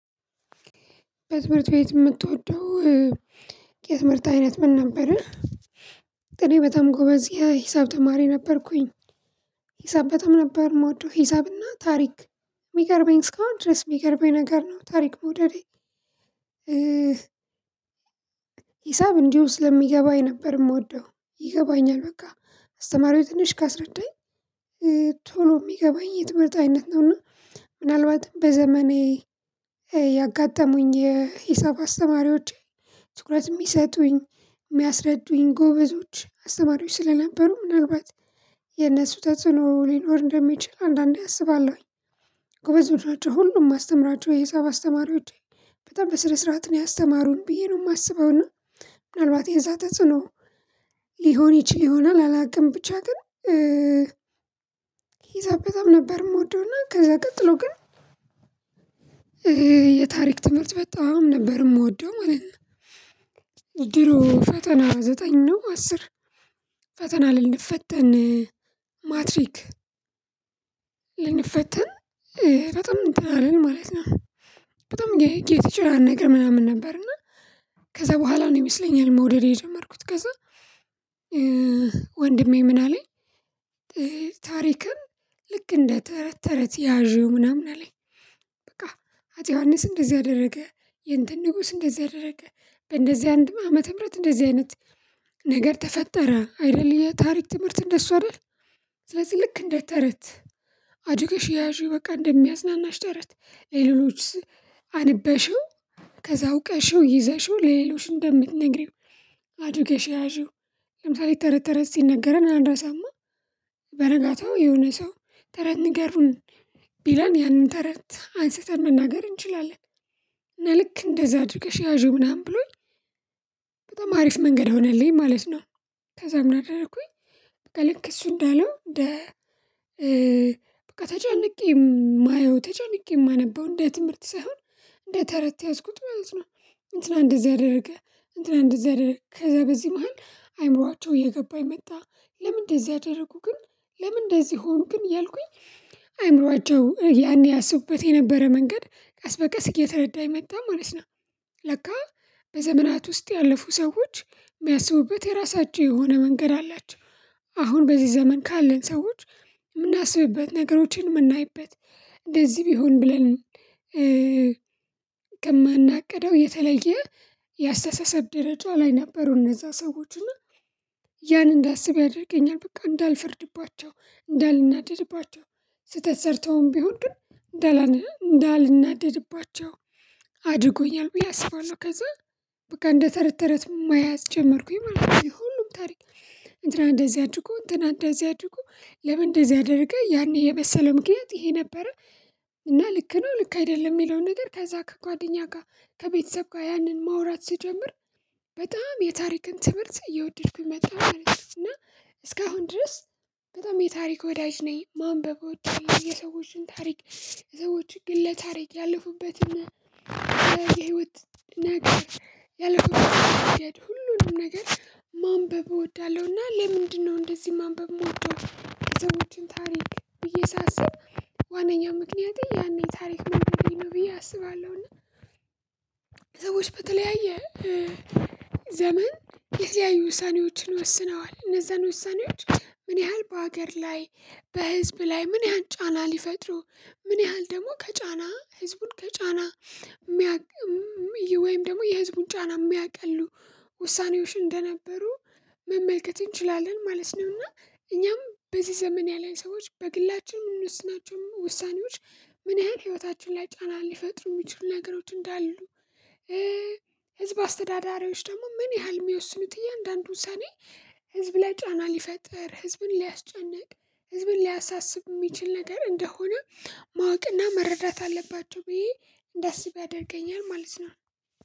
በትምህርት ቤት የምትወደው የትምህርት አይነት ምን ነበረ? እኔ በጣም ጎበዝ የሂሳብ ተማሪ ነበርኩኝ። ሂሳብ በጣም ነበር የምወደው ሂሳብና ታሪክ። የሚገርመኝ እስካሁን ድረስ የሚገርመኝ ነገር ነው ታሪክ መውደድ። ሕሳብ እንዲሁ ስለሚገባኝ ነበር የምወደው ይገባኛል በቃ አስተማሪው ትንሽ ካስረዳኝ። ቶሎ የሚገባኝ የትምህርት አይነት ነውና። ምናልባትም በዘመኔ ያጋጠሙኝ የሂሳብ አስተማሪዎቼ ትኩረት የሚሰጡኝ የሚያስረዱኝ ጎበዞች አስተማሪዎች ስለነበሩ ምናልባት የነሱ ተጽዕኖ ሊኖር እንደሚችል አንዳንዴ አስባለሁኝ። ጎበዝ ቡድኖች ሁሉም መስተምራቸው የሂሳብ አስተማሪዎቼ በጣም በስነ ስርዓት ነው ያስተማሩን ብዬ ነው የማስበውና። ምናልባት የዛ ተጽዕኖ ሊሆን ይችል ይሆናል አላውቅም ብቻ ግን። ሂሳብ በጣም ነበር የምወደውና ከዛ ቀጥሎ ግን የታሪክ ትምህርት በጣም ነበር የምወደው ማለት ነው። ድሮ ፈተና ዘጠኝ ነው አስር ፈተና ልንፈተን ማትሪክ ልንፈተን ፈተና እንትን አለን ማለት ነው። በጣም የጌት ይችላል ነገር ምናምን ነበር እና። ከዛ በኋላ ነው የሚስለኝ መውደድ የጀመርኩት ከዛ። ወንድሜ ምን አለኝ? ታሪክን ልክ እንደ ተረት ተረት ያዥው ምናምን አለኝ። በቃ አጼ ዮሐንስ እንደዚህ አደረገ የእንትን ንጉስ እንደዚህ አደረገ በእንደዚህ አንድ ዓመተ ምህረት እንደዚህ አይነት ነገር ተፈጠረ አይደል የታሪክ ትምህርት እንደሱ አይደል? ስለዚህ ልክ እንደ ተረት አድገርገሽ ያዢው በቃ እንደሚያዝናናሽ ተረት። ሌሎች አንበሽው ከዛ አውቀሽው ይዘሽው ለ ሌሎች እንደምትነግሪው። አድርገሽ ያዢው ለምሳሌ ተረት ተረት ስነገረን አንራሳማ። በነጋታው የሆነ ሰው ተረት ንገሩን ቢለን ያንን ተረት አንስተን መናገር እንችላለን። ልክ እንደዛ አድርገሽ ያዢው ምናምን ብሎኝ። በጣም አሪፍ መንገድ ሆነልኝ ማለት ነው። ከዛ ምን አደረኩኝ? በቃ ልክ እሱ እንዳለው እንደ በቃ ተጨንቄ የማየው ተጨንቄ የማነበው እንደ ትምህርት ሳይሆን እንደ ተረት ያዝኩት ማለት ነው። እንትና እንደዚህ አደረገ እንትና እንደዚህ አደረገ ከዛ በዚህ መሃል አይምሯቸው እየገባኝ መጣ። ለምን እንደዚህ አደረጉ ግን? ለምን እንደዚህ ሆኖ ግን እያልኩኝ? አእምሮአቸው ያኔ ያስቡበት የነበረ መንገድ ቀስ በቀስ እየተረዳኝ መጣ ማለት ነው። ለካ በዘመናት ውስጥ ያለፉ ሰዎች የሚያስቡበት የራሳቸው የሆነ መንገድ አላቸው። አሁን በዚህ ዘመን ካለን ሰዎች የምናስብበት ነገሮችን የምናይበት እንደዚህ ቢሆን ብለን። ከማናቅደው የተለየ የአስተሳሰብ ደረጃ ላይ ነበሩ እነዛ ሰዎች እና። ያን እንዳስብ ያደርገኛል በቃ እንዳልፈርድባቸው እንዳልናደድባቸው ስህተት ሰርተውም ቢሆን ግን እንዳላንህ እንዳልናደድባቸው አድርጎኛል። ብዬ አስባለሁ ከዛ በቃ እንደ ተረት ተረት መያዝ ጀመርኩኝ። ሁሉም ታሪክ እንትና እንደዚህ አድርጎ እንትና እንደዚህ አድርጎ ለምን እንደዚህ አደረገ ያኔ የመሰለው ምክንያት ይሄ ነበረ። እና ልክ ነው ልክ አይደለም የሚለውን ነገር ከዛ ከጓደኛ ጋር ከቤተሰብ ጋር ያንን ማውራት ሲጀምር። በጣም የታሪክን ትምህርት እየወደድኩኝ መጣሁ እና። እስካሁን ድረስ በጣም የታሪክ ወዳጅ ነኝ ማንበቦች የሰዎችን ታሪክ። ሰዎች ግለ ለታሪክ ያለፉበትን የህይወት ነገር ያለምንም ነገር ሁሉንም ነገር ማንበብ እወዳለሁና። ለምንድነው እንደዚህ ማንበብ የምወደው የሰዎችን ታሪክ ብዬ ሳስብ። ዋናኛ ምክንያቴ ያኔ ታሪክ መውደዴ ነው ብዬ አስባለሁ። እና ሰዎች በተለያየ ዘመን የተለያዩ ውሳኔዎችን ወስነዋል እነዛን ውሳኔዎች ምን ያህል በሀገር ላይ በህዝብ ላይ ምን ያህል ጫና ሊፈጥሩ ምን ያህል ደግሞ ከጫና ህዝቡን ከጫና። ወይም ደግሞ የህዝቡን ጫና የሚያቀሉ ውሳኔዎች እንደነበሩ መመልከት እንችላለን ማለት ነው። እና እኛም በዚህ ዘመን ያለን ሰዎች በግላችን ምንወስናቸው ውሳኔዎች ምን ያህል ህይወታችን ላይ ጫና ሊፈጥሩ የሚችሉ ነገሮች እንዳሉ። ህዝብ አስተዳዳሪዎች ደግሞ ምን ያህል የሚያወስኑት እያንዳንዱን ውሰኔ ህዝብ ላይ ጫና ሊፈጥር ህዝብን ሊያስጨንቅ ህዝብን ሊያሳስብ የሚችል ነገር እንደሆነ። ማወቅና መረዳት አለባቸው ብዬ እንዳስብ ያደርገኛል ማለት ነው።